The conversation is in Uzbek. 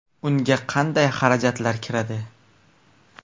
Unga qanday xarajatlar kiradi?